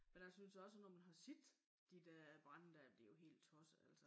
Men jeg synes også når man har set de dér brande dér det jo helt tosset altså